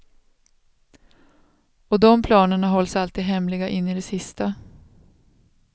Och de planerna hålls alltid hemliga in i det sista.